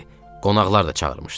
Qonaqlar da çağırmışdı.